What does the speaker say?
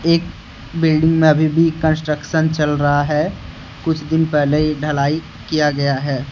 एक बिल्डिंग में अभी भी कंस्ट्रक्शन चल रहा है कुछ दिन पहले ही ढलाई किया गया है।